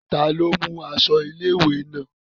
Ta ni ó mú aṣọ ilé-ìwé náà?